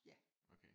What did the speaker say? Ja